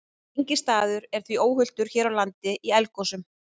Enginn staður er því óhultur hér á landi í eldgosum.